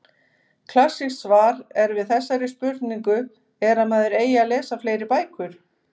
Klassískt svar er við þessari spurningu er að maður eigi að lesa fleiri bækur.